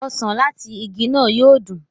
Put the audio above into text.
osàn lati ìgi náà yóò dun.